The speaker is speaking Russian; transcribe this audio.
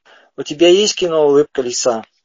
у тебя есть кино улыбка лиса